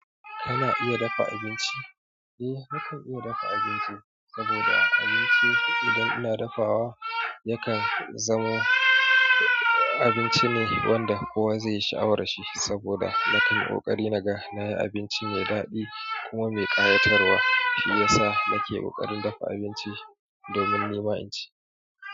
Kana iya dafa abinci? Eh nakan iya dafa abinci, saboda abincin idan ina dafawa yakan zamo, abinci ne wanda kowa zai yi sha'awar shi. Saboda na kan ƙoƙarin naga nayi abinci mai daɗi kuma mai ƙayatarwa domin nima inci.